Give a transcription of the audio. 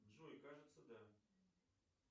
джой кажется да